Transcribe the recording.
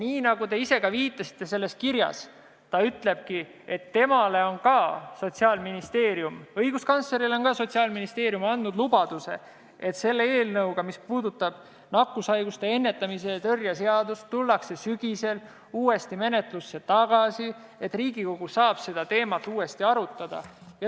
Ja nagu te ka ise viitasite, ütleb ta selles kirjas, et temale on Sotsiaalministeerium andnud lubaduse, et see eelnõu, mis puudutab nakkushaiguste ennetamise ja tõrje seadust, tuuakse sügisel menetlusse tagasi ja et Riigikogu saab seda teemat uuesti arutada.